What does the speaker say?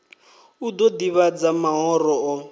u ḓo ḓivhadza mahoro o